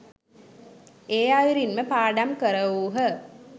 ඒ අයුරින්ම පාඩම් කරවූහ